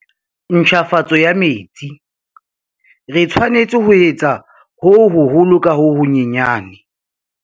Ntjhafatso ya metsi re tshwanetse ho etsa ho hoholo ka ho honyane.